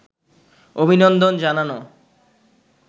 অভিনন্দন জানানো